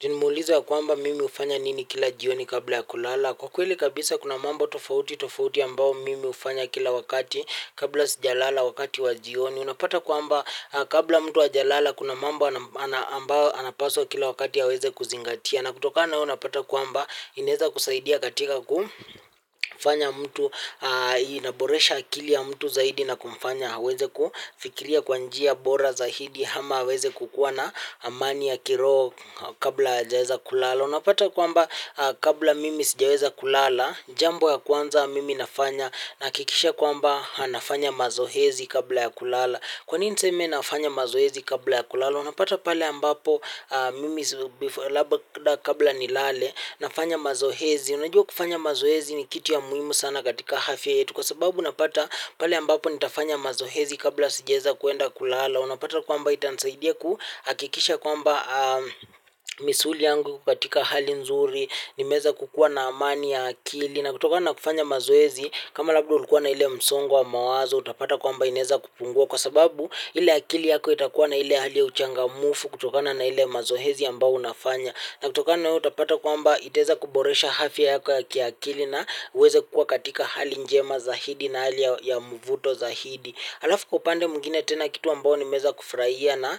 Juu nimeulizwa kwamba mimi hufanya nini kila jioni kabla ya kulala. Kwa kweli kabisa kuna mambo tofauti tofauti ambao mimi hufanya kila wakati kabla sijalala wakati wa jioni. Unapata kwamba kabla mtu hajalala kuna mambo ambao anapaswa kila wakati aweze kuzingatia. Na kutoka nao unapata kwamba inaweza kusaidia katika kufanya mtu inaboresha akili ya mtu zaidi na kumfanya aweze kufikiria kwa njia bora zaidi ama aweze kukuwa na amani ya kiroho kabla ajaweza kulala unapata kwamba kabla mimi sijaweza kulala jambo ya kwanza mimi nafanya nahakikisha kwamba nafanya mazoezi kabla ya kulala kwa nini niseme nafanya mazoezi kabla ya kulala. Unapata pale ambapo mimi labda kabla nilale nafanya mazoezi. Unajua kufanya mazoezi ni kitu ya muhimu sana katika afya yetu. Kwa sababu unapata pale ambapo nitafanya mazoezi kabla sijaweza kuenda kulala. Unapata kwamba itanisaidia kuhakikisha kwamba misuli yangu iko katika hali nzuri. Nimeweza kukua na amani ya akili. Na kutoka na kufanya mazoezi kama labda ulikuwa na ile msongo wa mawazo. Utapata kwamba inaweza kupungua kwa sababu ile akili yako itakuwa na ile hali ya uchangamfu kutokana na ili mazoezi ambao unafanya. Na kutokana utapata kwamba itaeza kuboresha afya yako ya kiakili na uweze kukua katika hali njema zaidi na hali ya mvuto zaidi alafu kwa upande mwingine tena kitu ambao nimeweza kufurahia na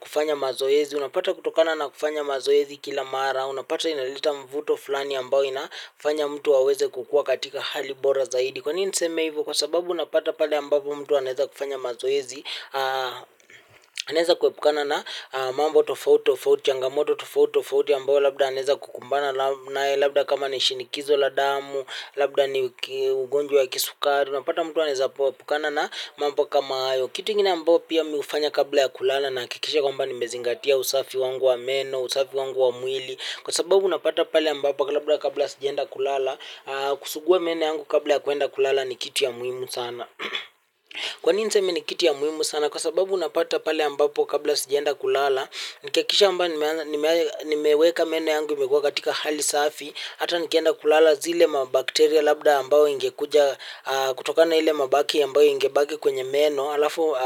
kufanya mazoezi. Unapata kutokana na kufanya mazoezi kila mara. Unapata inaleta mvuto fulani ambao inafanya mtu aweze kukua katika hali bora zaidi. Kwa nini niseme hivyo kwa sababu unapata pale ambapo mtu anaeza kufanya mazoezi. Anaeza kuepukana na mambo tofauti tofauti changamoto tofauti tofauti ambapo labda anaaeza kukumbana labda kama ni shinikizo la damu. Labda ni ugonjwa ya kisukari unapata mtu anaeza epukana na mambo kama hayo. Kitu ingine ambapo pia mimi hufanya kabla ya kulala. Nahakikisha kwamba nimezingatia usafi wangu wa meno, usafi wangu wa mwili. Kwa sababu unapata pale ambapo kwa labda kabla ya sijaenda kulala kusugua meno yangu kabla ya kuenda kulala ni kitu ya muimu sana kwa nini niseme ni kitu ya muhimu sana kwa sababu unapata pale ambapo kabla sijaenda kulala nikihakikisha kwamba nimeweka meno yangu imekua katika hali safi hata nikienda kulala zile mabakteria labda ambao ingekuja kutokana ile mabaki ambao ingebaki kwenye meno alafu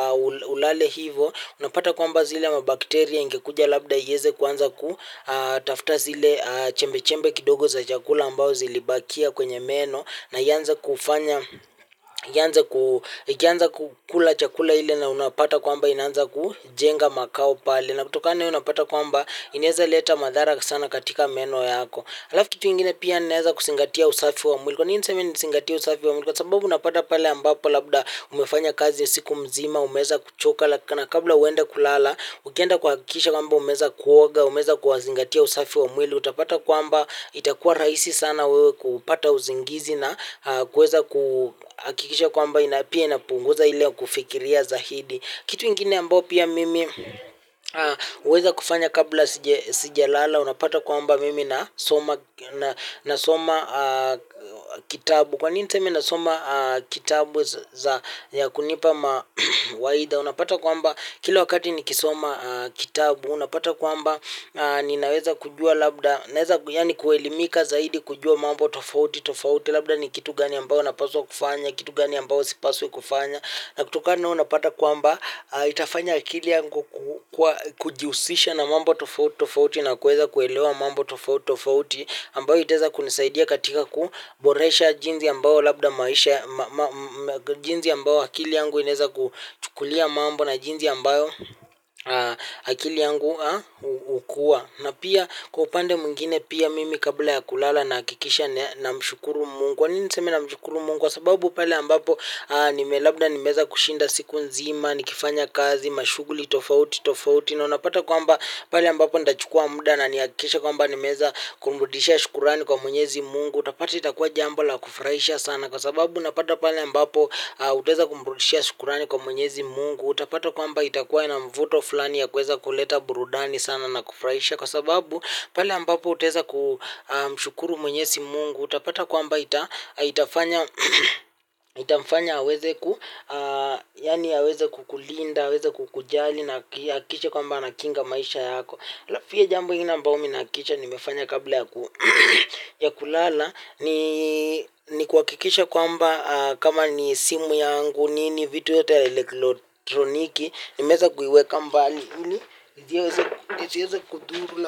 ulale hivo unapata kwamba zile mabakteria ingekuja labda iweze kuanza kutafta zile chembe-chembe kidogo za chakula ambazo zilibakia kwenye meno na ianze kufanya ianze kukula chakula ile na unapata kwamba inaanza kujenga makao pale na kutokana na hio unapata kwamba inaeza leta madhara sana katika meno yako. Alafu kitu ingine pia ninaeza kuzingatia usafi wa mwili. Kwa nini niseme nizingatia usafi wa mwili. Kwa sababu unapata pale ambapo labda umefanya kazi ya siku mzima, umeweza kuchoka na kabla uende kulala, ukienda kuhakikisha kwamba umeweza kuoga, umeweza kuzingatia usafi wa mwili. Utapata kwamba itakuwa rahisi sana wewe kupata usingizi na kuweza kuhakikisha kwamba na pia inapunguza ile kufikiria zaidi. Kitu ingine ambao pia mimi huweza kufanya kabla sijalala. Unapata kwamba mimi nasoma kitabu. Kwa nini niseme nasoma kitabu za ya kunipa mawaida. Unapata kwamba kila wakati nikisoma kitabu. Unapata kwamba ninaweza kujua labda naweza yaani kuelimika zaidi kujua mambo tofauti tofauti. Labda ni kitu gani ambayo napaswa kufanya. Kitu gani ambayo sipaswi kufanya. Na kutokana na hiyo unapata kwamba itafanya akili yangu kujihusisha na mambo tofauti tofauti. Na kuweza kuelewa mambo tofauti tofauti ambayo itaweza kunisaidia katika kuboresha jinsi ambayo labda maisha jinsi ambayo akili yangu inaweza kuchukulia mambo na jinsi ambayo akili yangu na pia kwa upande mwingine pia mimi kabla ya kulala nahakikisha namshukuru mungu kwa nini niseme namshukuru mungu kwa sababu pale ambapo nime labda nimeweza kushinda siku nzima. Nikifanya kazi, mashugjuli, tofauti, tofauti. Na unapata kwamba pale ambapo ndachukua muda na nihakikisha kwamba nimeweza kumrudisha shukrani kwa mwenyezi mungu. Utapata itakua jambo la kufurahisha sana. Kwa sababu unapata pale ambapo utaweza kumrudisha shukrani kwa mwenyezi mungu. Utapata kwamba itakua ina mvuto fulani ya kuweza kuleta burudani sana na kufurahisha kwa sababu pale ambapo utaweza kumshukuru mwenyezi mungu utapata kwamba itafanya itamfanya aweze ku yaani aweze kukulinda aweze kukujali na ahakikishe kwamba anakinga maisha yako. Alafu pia jambo ingine ambayo mimi nahakikisha nimefanya kabla ya kulala ni kuhakikisha kwamba kama ni simu yangu nini vitu yote ya elektroniki nimeweza kuiweka mbali ili ziweze kudhuru.